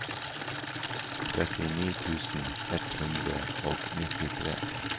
trettini tusen ett hundre og nittitre